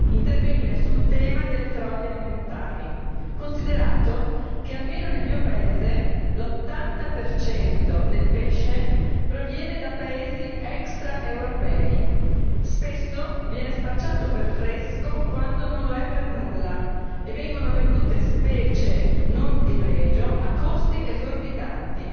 intervenire sul tema delle frodi alimentari considerato che, almeno nel mio paese, l'80 per cento del pesce proviene da paesi extraeuropei e spesso viene spacciato per fresco quando non lo è per nulla e vengono vendute specie non di pregio a costi esorbitanti.